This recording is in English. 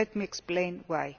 Let me explain why.